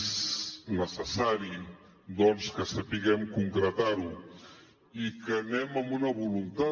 és necessari doncs que sapiguem concretar ho i que hi anem amb una voluntat